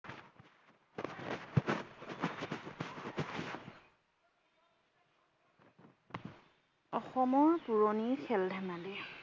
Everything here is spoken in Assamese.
অসমৰ পুৰণি খেল ধেমালি।